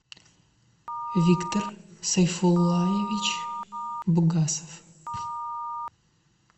виктор сайфуллаевич бугасов